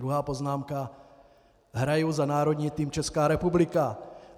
Druhá poznámka - hraji za národní tým Česká republika.